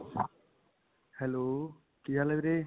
hello. ਕੀ ਹਾਲ ਹੈ ਵੀਰੇ?